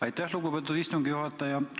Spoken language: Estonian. Aitäh, lugupeetud istungi juhataja!